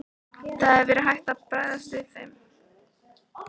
Það hefði þó verið hægt að bregðast við þeim.